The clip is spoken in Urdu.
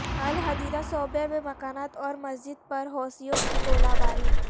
الحدیدہ صوبہ میں مکانات اور مسجد پر حوثیوں کی گولہ باری